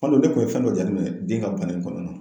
Hali ne kun ye fɛn dɔ jate minɛ den ka bana in kɔnɔna na